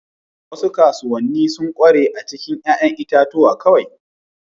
Wasu kasuwanni sun ƙware a cikin 'ya'yan itatuwa kawai.